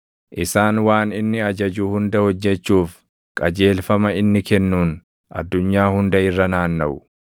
Isaan waan inni ajaju hunda hojjechuuf, qajeelfama inni kennuun addunyaa hunda irra naannaʼu.